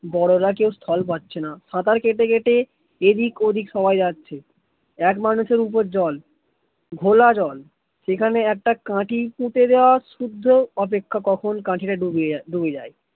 বড়োরা কেউ স্থল পাচ্ছেনা সাতার কেটে কেটে এই দিক ওই দিক সবাই যাছে এক মানুষ এর ওপর জল ঘোলা জল সেখানে একটা কাটি পুঁতে দেওয়া সুদ্ধ অপেক্ষা কাটি তা কখন ডুবে যায়